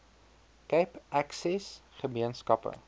cape access gemeenskappe